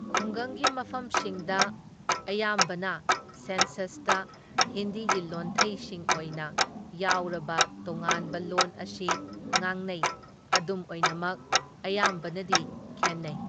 ꯈꯨꯡꯒꯪꯒꯤ ꯃꯐꯝꯁꯤꯡꯗ ꯑꯌꯥꯝꯕꯅ ꯁꯦꯟꯁꯁꯇ ꯍꯤꯟꯗꯤꯒꯤ ꯂꯣꯟꯊꯩꯁꯤꯡ ꯑꯣꯏꯅ ꯌꯥꯎꯔꯕ ꯇꯣꯉꯥꯟꯕ ꯂꯣꯟ ꯑꯁꯤ ꯉꯥꯡꯅꯩ, ꯑꯗꯨꯝ ꯑꯣꯏꯅꯃꯛ ꯑꯌꯥꯝꯕꯅꯗꯤ ꯈꯦꯟꯅꯩ꯫